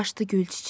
Aşdı gül çiçək.